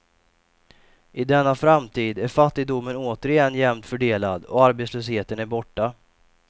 I denna framtid är fattigdomen återigen jämnt fördelad och arbetslösheten är borta.